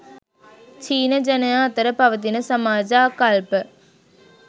චීන ජනයා අතර පවතින සමාජ ආකල්ප